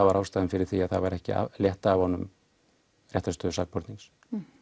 var ástæðan fyrir því að það var ekki aflétt af honum réttarstöðu sakbornings